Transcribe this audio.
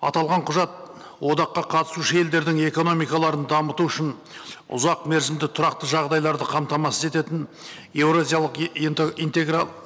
аталған құжат одаққа қатысушы елдердің экономикаларын дамыту үшін ұзақ мерзімді тұрақты жағдайларды қамтамасыз ететін еуразиялық